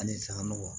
Halisa nɔgɔ